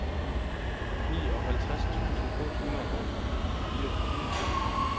nioghalvfjerds tusind otte hundrede og fireogtyve